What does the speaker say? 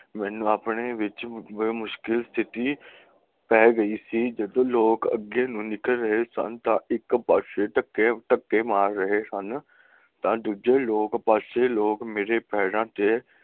ਮੈਨੂੰ ਆਪਣੇ ਵਿਚ ਬੜੀ ਮੁਸ਼ਕਿਲ ਪੈ ਗਈ ਸੀ ਜਦੋਂ ਲੋਕ ਅੱਗੇ ਨਿਕਲ ਰਹੇ ਸਨ ਤਾਂ ਇੱਕ ਪਾਸੇ ਧੱਕੇ ਮਾਰ ਰਹੇ ਸਨ ਤਾਂ ਦੂਜੇ ਪਾਸੇ ਲੋਕ ਮੇਰੇ ਪੈਰਾਂ ਚ